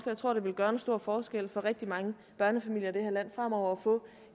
jeg tror det vil gøre en stor forskel for rigtig mange børnefamilier i det her land fremover at få